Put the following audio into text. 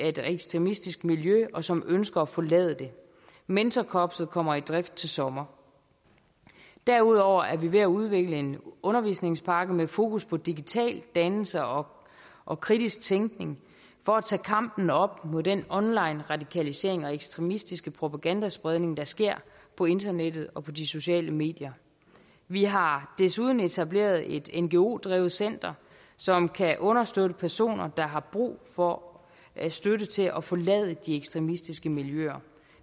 et ekstremistisk miljø og som ønsker at forlade det mentorkorpset kommer i drift til sommer derudover er vi ved at udvikle en undervisningspakke med fokus på digital dannelse og og kritisk tænkning for at tage kampen op mod den online radikalisering og ekstremistiske propagandaspredning der sker på internettet og på de sociale medier vi har desuden etableret et ngo drevet center som kan understøtte personer der har brug for støtte til at forlade de ekstremistiske miljøer